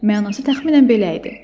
Mənası təxminən belə idi: